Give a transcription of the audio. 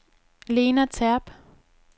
Lena Terp